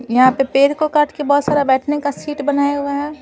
यहां पे पेड़ को काट के बहुत सारा बैठने का शीट बनाया हुआ है।